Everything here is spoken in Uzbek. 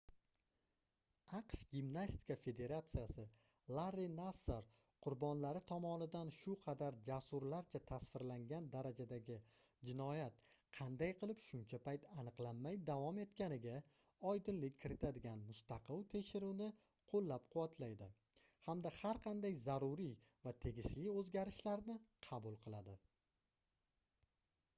aqsh gimnastika federatsiyasi larri nassar qurbonlari tomonidan shu qadar jasurlarcha tasvirlangan darajadagi jinoyat qanday qilib shuncha payt aniqlanmay davom etganiga oydinlik kiritadigan mustaqil tekshiruvni qoʻllab-quvvatlaydi hamda har qanday zaruriy va tegishli oʻzgarishlarni qabul qiladi